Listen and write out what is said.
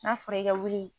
N'a fɔra i ka wuli